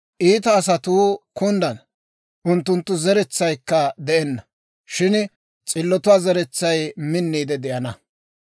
Iita asatuu kunddana; unttunttoo zeretsaykka de'enna; shin s'illotuwaa zeretsay minniide de'ana.